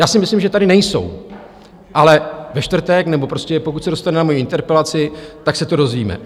Já si myslím, že tady nejsou, ale ve čtvrtek nebo prostě pokud se dostane na moji interpelaci, tak se to dozvíme.